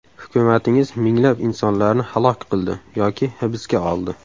Hukumatingiz minglab insonlarni halok qildi yoki hibsga oldi.